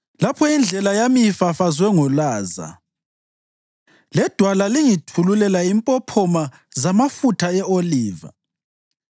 lapho indlela yami ifafazwe ngolaza ledwala lingithululela impophoma zamafutha e-oliva.